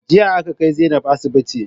Jiya aka ƙai Zainab asiɓiti